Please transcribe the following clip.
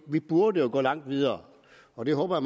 vi burde jo gå langt videre og det håber